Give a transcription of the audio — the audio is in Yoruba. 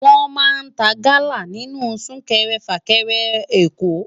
Wòn má n tá gala ninú súkèrè fákèrè Èkó